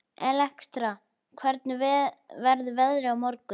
Elektra, hvernig verður veðrið á morgun?